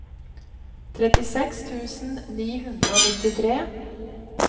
trettiseks tusen ni hundre og nittitre